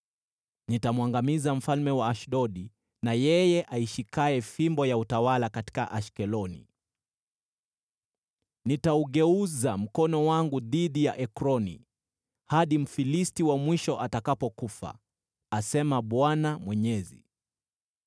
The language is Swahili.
Nitamwangamiza mfalme wa Ashdodi na yeye aishikaye fimbo ya utawala katika Ashkeloni. Nitaugeuza mkono wangu dhidi ya Ekroni, hadi Mfilisti wa mwisho atakapokufa,” asema Bwana Mwenyezi.